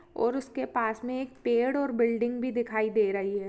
और उसके पास में एक पेड़ और बिल्डिंग भी दिखाई दे रही है ।